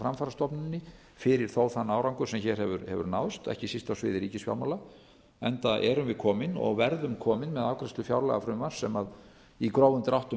framfarastofnuninni fyrir þó þann árangur sem hér hefur náðst ekki síst á sviði ríkisfjármála enda erum við komin og verðum komin með afgreiðslu fjárlagafrumvarps sem í grófum dráttum